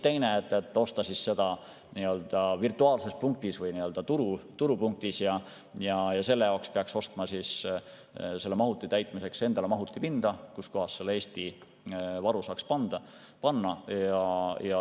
Teine võimalus on osta seda virtuaalses punktis või turupunktis ja selle jaoks peaks ostma mahuti täitmiseks endale mahutipinda, kuhu selle Eesti varu saaks panna.